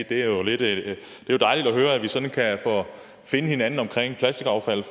det er jo dejligt at høre at vi sådan kan finde hinanden omkring plastikaffald i